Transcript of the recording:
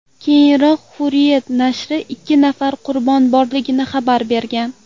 Keyinroq Hurriyet nashri ikki nafar qurbon borligini xabar bergan.